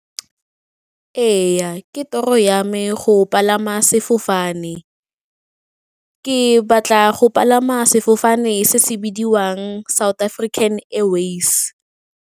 Ee, ke toro ya me go palama sefofane, ke batla go palama sefofane se se bidiwang South African Airways.